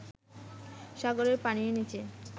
সাগরের পানির নিচে